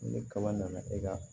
Ni kaba nana e ka